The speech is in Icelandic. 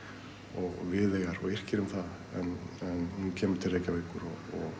og Viðeyjar og yrkir um það en hún kemur til Reykjavíkur